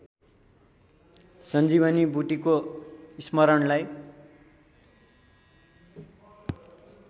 सञ्जीवनी बुट्टीको स्मरणलाई